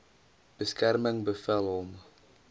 beskerming bevel hom